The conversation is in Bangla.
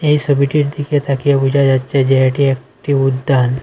এই ছবিটির দিকে তাকিয়ে বোঝা যাচ্ছে যে এটি একটি উদ্যান।